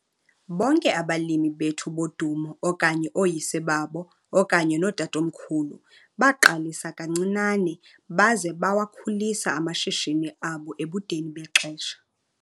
Bonke abalimi bethu bodumo okanye ooyise babo okanye nootatomkhulu baqalisa kancinane baze bawakhulisa amashishini abo ebudeni bexesha.